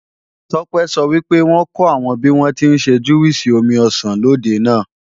Tọ́pẹ́ sọ wípé wọ́n kọ́ àwọn bíwọ́n tí ń ṣe júwìsì omi ọsàn lòde náà